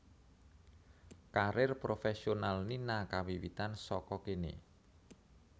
Karir profésional Nina kawiwitan saka kéné